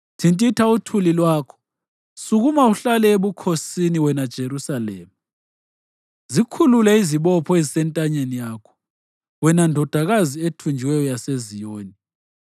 Thintitha uthuli lwakho; sukuma, uhlale ebukhosini, wena Jerusalema. Zikhulule izibopho ezisentanyeni yakho, wena Ndodakazi ethunjiweyo yaseZiyoni.